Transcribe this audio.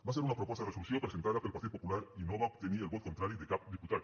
va ser una proposta de resolució presentada pel partit popular i no va obtenir el vot contrari de cap diputat